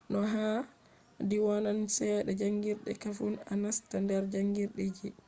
no haadi wonan chede jangirde kafun a nasta nder jangirde ji